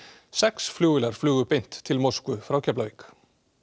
sex flugvélar flugu beint til Moskvu frá Keflavík